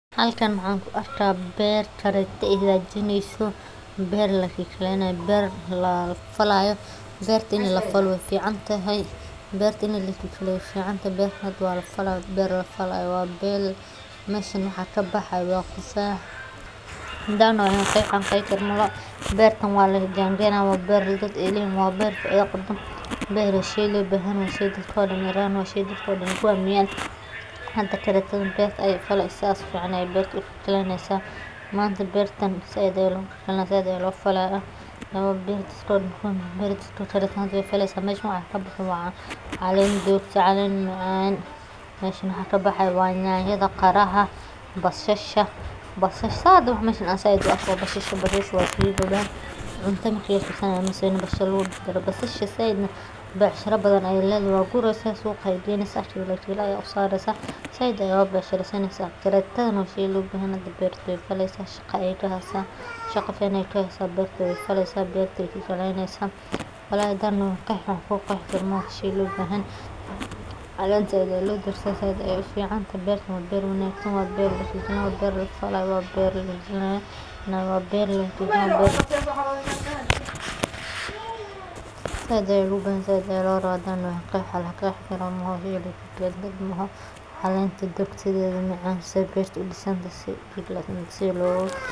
Halkan waxan ku arka beer taragta ee hagajineyso, beer lakikaleynayo, beer la falayo berta in lafalo wey ficantahay beerta in lakikaleyo wey ficantahy beerta hada waa lafala beer lafaya way meshan hada waxaa ka baxaya waxaa waye waa tufax, beertan waa lajanjeyni haya waa beer la leyoho waa beer faidho qabto waa shey lo bahan yoho waa shey dadka dan ee ku hamiyan, hada taragtaadan beerta ayey faleysa, manta bertan said aya lo falaya berta taragtadha ahanta ayey faleysa meshan waxaa kabaxay waa calen jogto ah meshan waxaa kabaxe waa qiraha basasha meshan inkasto lagu jar jaro basasha said ayey becshira badan ayey ledhahay waa gureysa suqa aya geynesa said aya oga bec shireysaneysa taragtadana waa shey lo bahan yoho hada beerta ayey faleysa shaqo fican ayey qawaneysa beerta ayey faleysa, walahi hadan doho wan qeexi wax laqexi kara maaha, beertan waa beer wanagsan waa beer lafalayo waa beer aad ayey busantahay hadan doho wan qeexi wax laqexi karo maaha calenta dogaguro si beerta loga.